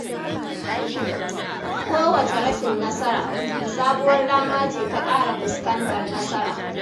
Kowacce rashin nasara, sabuwar dama ce ta ƙara fuskantar nasara.